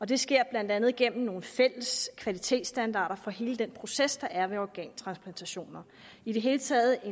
det sker blandt andet gennem nogle fælles kvalitetsstandarder for hele den proces der er ved organtransplantation i det hele taget er